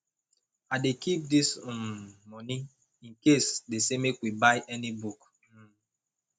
i dey keep dis um moni incase dey say make we buy any book um